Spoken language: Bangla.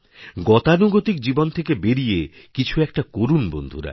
গতানুগতিকজীবন থেকে বেরিয়ে কিছু একটা করুন বন্ধুরা